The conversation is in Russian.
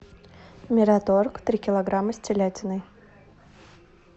мираторг три килограмма с телятиной